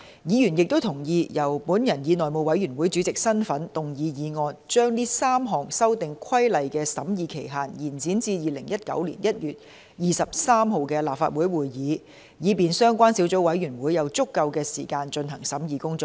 議員亦同意，由我以內務委員會主席的身份動議議案，將該3項修訂規例的審議期限延展至2019年1月23日的立法會會議，以便相關小組委員會有足夠時間進行審議工作。